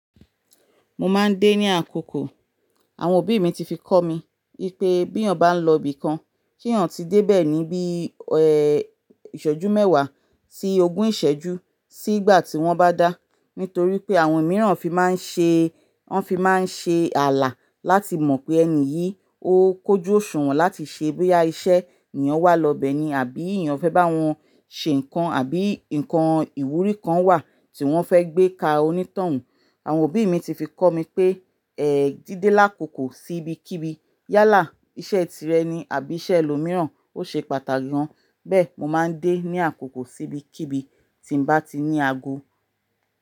Mo máa ń dé ní àkókò. Àwọn òbí mi ti fi kọ́ mi pé bí eyan bá ń lọ ibìkan, kí yan tí dé bẹ́ẹ̀ ní bí ìṣọ́jú mẹ́wàá sí ogún ìṣẹ́jú sí ìgbà tí wọ́n bá dá. Nítorí pé àwọn mìíràn fi máa ń ṣe, wọ́n fi máa ń ṣe ààlà láti mọ̀ pé ẹni yìí ó kójú òṣùwọ̀n láti ṣe boya iṣẹ́ ni yan wá lọ bẹ́ẹ̀ ni abi eyan fẹ́ bá wọn ṣe nǹkan àbí nǹkan ìwúrí kan wà tí wọ́n fẹ́ gbé ka onítọ̀hún. Àwọn òbí mi ti fi kọ́ mi pé, ẹ́ díde lákòókò sí ibi kíbi. Yálà, iṣẹ́ tirẹ̀ ni àbí iṣẹ́ ẹlòmíràn ó ṣe pàtàkì gan. Bẹ́ẹ̀ mo máa ń dé ní àkókò sí ibi kíbi tí n bá ti ní ago.